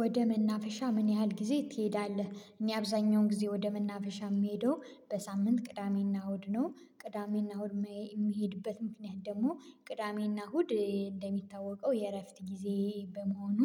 ወደ መናፈሻ ምን ያህል ጊዜ ትሄዳለህ? እኔ አብዛኛውን ጊዜ ወደ መናፈሻ ምሄደው በሳምንት ቅዳሜና እሁድ ነው ቅዳሜና እሁድ መሄ የሚሄድበት ምክንያት ደግሞ ቅዳሜና እሁድ እንደሚታወቀው የእረፍት ጊዜ በመሆኑ